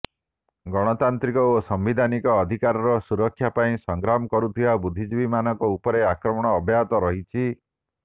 ଗଣତାନ୍ତ୍ରିକ ଓ ସାମ୍ବିଧାନିକ ଅଧିକାରର ସୁରକ୍ଷା ପାଇଁ ସଂଗ୍ରାମ କରୁଥିବା ବୁଦ୍ଧିଜୀବୀମାନଙ୍କ ଉପରେ ଆକ୍ରମଣ ଅବ୍ୟାହତ ରହିଛି